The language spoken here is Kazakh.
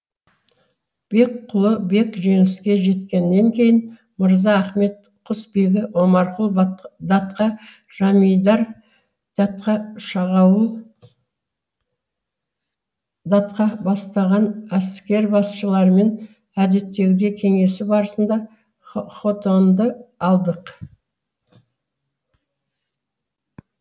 бекқұлы бек жеңіске жеткеннен кейін мырза ахмет құсбегі омарқұл датқа жамидар датқа шағауыл датқа бастаған әскербасшылармен әдеттегідей кеңесу барысында хотанды алдық